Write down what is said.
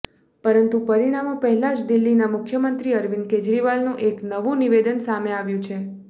પરંતુ પરિણામો પહેલાં જ દિલ્હીના મુખ્યમંત્રી અરવિંદ કેજરીવાલનું એક નવું નિવેદન સામે આવ્યું છે